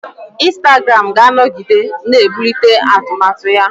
Instagram ga-anọgide na-ebulite atụmatụ ya.